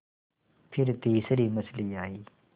फिर तीसरी मछली आई